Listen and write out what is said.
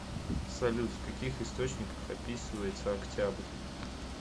салют в каких источниках описывается октябрь